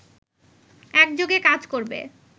একযোগে কাজ করবে